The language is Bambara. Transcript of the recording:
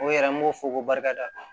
O yɛrɛ an b'o fɔ ko barika da